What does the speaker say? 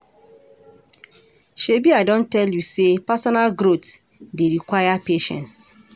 Shebi I don tell you sey personal growth dey require patience.